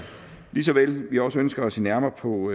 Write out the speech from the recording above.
lige så vel som vi også ønsker at se nærmere på